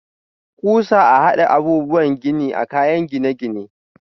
Kusa a hada abubuwa gini a kayan gine-gine.